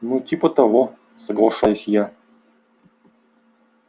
ну типа того соглашаюсь я